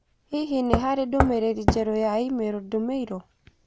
Hihi nĩ harĩ ndũmĩrĩri njerũ ya i-mīrū ndũmĩirũo?